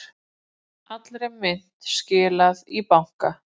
Allri myntinni skilað í banka